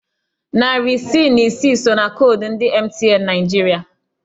Narị isii na isi so na koodu ndị MTN Naịjirịa.